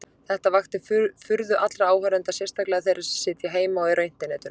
Þetta vakti furðu allra áhorfenda, sérstaklega þeirra sem sitja heima og eru á internetinu.